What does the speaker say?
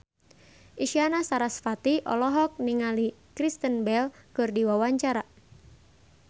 Isyana Sarasvati olohok ningali Kristen Bell keur diwawancara